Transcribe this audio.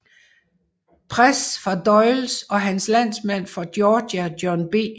Pres fra Doles og hans landsmand fra Georgia John B